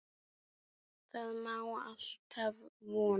Það má alltaf vona.